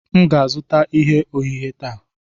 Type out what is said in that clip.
M ga-azụta ihe ohehe taa.